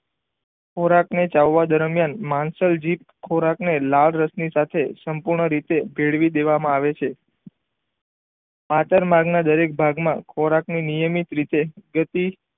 ખોરાક ને ચાવવા દરમિયાન માંસલ જીભ ખોરાક ને લાળરસ ની સાથે સંપૂણ રીતે ભેળવી દેવામાં આવે છે આકરનાગ ના દરેક ભાગ માં ખોરાક ના નિયમિત રીતે જેથી